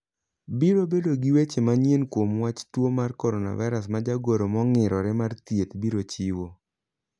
Biro bedo gi weche manyien kuom wach tuo mar coronavirus ma jagoro mongirore mar thieth biro chiwo.